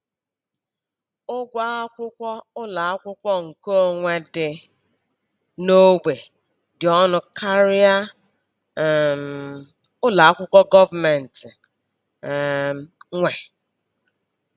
Ụgwọ akwụkwọ ụlọ akwụkwọ nkeonwe dị n'ogbe dị ọnụ karịa um ụlọakwụkwọ gọọmentị um nwe